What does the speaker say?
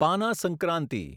પાના સંક્રાંતિ